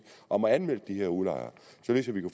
og anmeldte de her udlejere